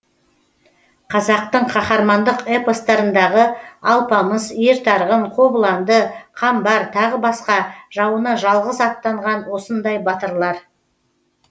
қазақтың қаһармандық эпостарындағы алпамыс ер тарғын қобыланды қамбар тағы басқа жауына жалғыз аттанған осындай батырлар